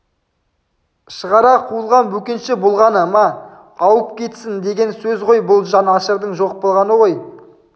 шығара қуылған бөкенші болғаны ма ауып кетсін деген сөз ғой бұл жан ашырдың жоқ болғаны ғой